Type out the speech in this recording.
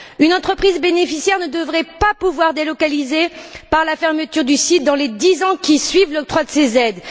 Une entreprise bénéficiaire ne devrait pas pouvoir délocaliser par la fermeture du site dans les dix ans qui suivent l'octroi de ces aides.